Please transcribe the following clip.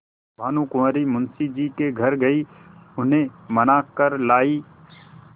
भानुकुँवरि मुंशी जी के घर गयी उन्हें मना कर लायीं